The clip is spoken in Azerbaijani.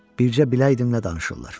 Bircə biləydim nə danışırlar.